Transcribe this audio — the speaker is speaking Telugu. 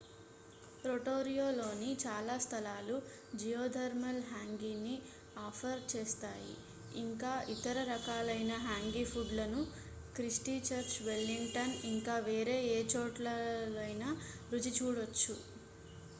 rotoruaలోని చాలా స్థలాలు geothermal hangiని ఆఫర్ చేస్తాయి ఇంకా ఇతర రకాలైన hangi ఫుడ్‌ లను christichurch wellington ఇంకా వేరే ఏ చోటనైనా రుచి చూడొచ్చు